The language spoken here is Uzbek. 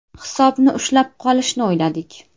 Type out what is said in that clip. Hisobni ushlab qolishni o‘yladik.